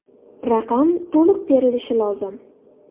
Raqam to‘liq terilishi lozim.